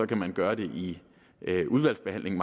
kan man gøre det i udvalgsbehandlingen